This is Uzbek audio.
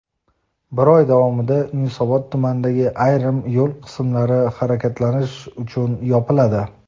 bir oy davomida Yunusobod tumanidagi ayrim yo‘l qismlari harakatlanish uchun yopiladi:.